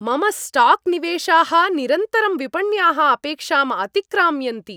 मम स्टाक् निवेशाः निरन्तरं विपण्याः अपेक्षाम् अतिक्राम्यन्ति।